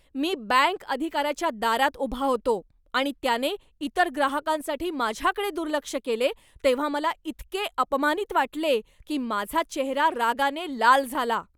मी bank अधिकाऱ्याच्या दारात उभा होतो आणि त्याने इतर ग्राहकांसाठी माझ्याकडे दुर्लक्ष केले तेव्हा मला इतके अपमानित वाटले की माझा चेहरा रागाने लाल झाला.